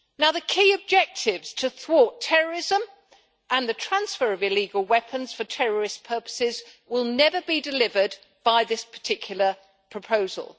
The key objectives to thwart terrorism and the transfer of illegal weapons for terrorist purposes will never be delivered by this particular proposal.